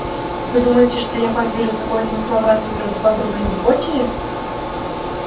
и вы думаете что я поверю такой замысловатой неправдоподобной гипотезе